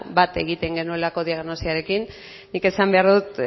bat egiten genuelako diagnosiarekin nik esan behar dut